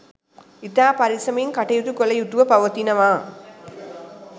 ඉතා පරෙස්සමින් කටයුතු කළ යුතුව පවතිනවා